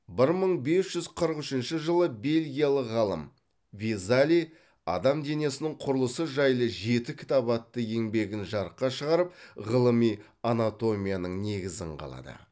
бір мың бес жүз қырық үшінші жылы бельгиялық ғалым везалий адам денесінің құрылысы жайлы жеті кітап атты еңбегін жарыққа шығарып ғылыми анатомияның негізін қалады